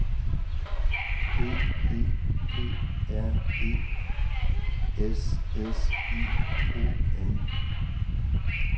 D E P R E S S I O N